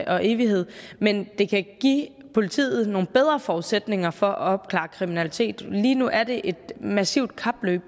og evighed men det kan give politiet nogle bedre forudsætninger for at opklare kriminalitet lige nu er det et massivt kapløb